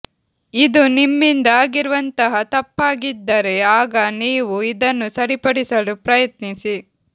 ಇದು ನಿಮ್ಮಿಂದ ಆಗಿರುವಂತಹ ತಪ್ಪಾಗಿದ್ದರೆ ಆಗ ನೀವು ಇದನ್ನು ಸರಿಪಡಿಸಲು ಪ್ರಯತ್ನಿಸಿ